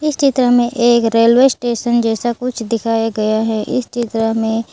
इस चित्र में एक रेलवे स्टेशन जैसा कुछ दिखाया गया है इस चित्र में --